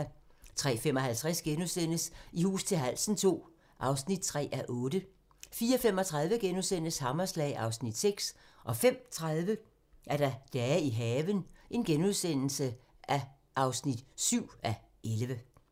03:55: I hus til halsen II (3:8)* 04:35: Hammerslag (Afs. 6)* 05:30: Dage i haven (7:11)